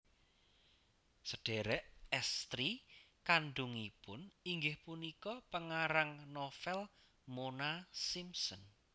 Sedhèrèk èstri kandhungipun inggih punika pengarang novel Mona Simpson